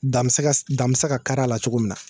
Da bɛ se ka kar'a la cogo min na